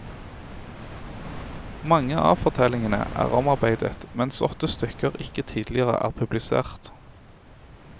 Mange avfortellingene er omarbeidet, mens åtte stykker ikke tidligere er publisert.